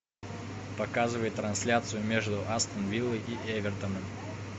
показывай трансляцию между астон виллой и эвертоном